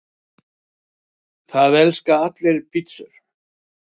Það elska allir pizzur!